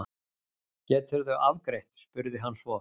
Geturðu afgreitt? spurði hann svo.